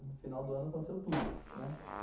No final do ano aconteceu tudo, né.